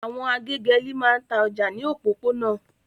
Àwọn agégẹ́lì máa ń ta ọjà ní òpópónà.